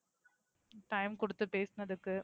time கொடுத்து பேசனத்துக்கு,